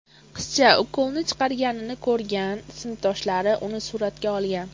Qizcha ukolni chiqarganini ko‘rgan sinfdoshlari uni suratga olgan.